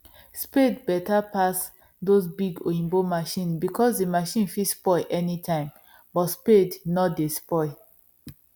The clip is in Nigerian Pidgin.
spade better pass those big oyibo machine because the machine fit spoil anytime but spade nor dey spoil